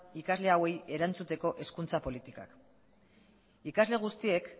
ikasle hauei erantzuteko hezkuntza politikak ikasle guztiek